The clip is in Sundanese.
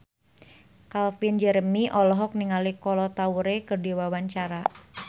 Calvin Jeremy olohok ningali Kolo Taure keur diwawancara